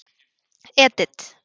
Edit